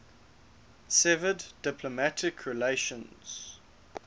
severed diplomatic relations